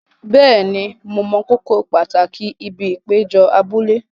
Bẹ́ẹ̀ni, mo mọ kókó pàtàkì ibi ìpéjọ abúlé.